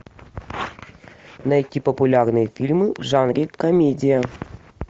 найти популярные фильмы в жанре комедия